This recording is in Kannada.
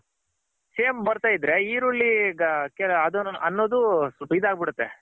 same ಬರ್ತಾ ಇದ್ರೆ ಈರುಳ್ಳಿ ಅನ್ನೋದು ಈದ್ ಆಗ್ಬಿಡುತ್ತೆ.